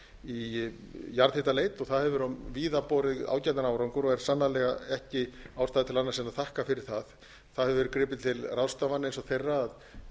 í jarðhitaleit það hefur víða borið ágætan árangur og er sannarlega ekki ástæða til annars en að þakka fyrir það það hefur verið gripið til ráðstafana eins og þeirra að